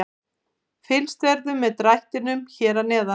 Fylgst verður með drættinum hér að neðan.